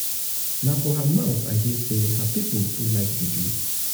na for her mouth i hear sey her pipu too too like juju.